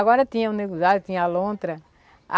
Agora tinha o nego d'água, tinha a lontra.